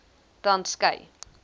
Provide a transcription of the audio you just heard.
transkei